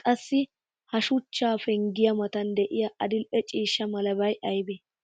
qassi ha shuchcha penggiya matan diya adil'e ciishsha malabay aybee?